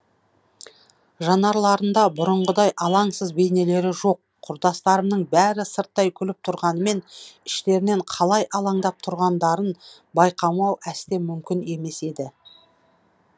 жанарларында бұрыңғыдай алаңсыз бейнелері жоқ құрдастарымның бәрі сырттай күліп тұрғанымен іштерінен қалай алаңдап тұрғандарын байқамау әсте мүмкін емес еді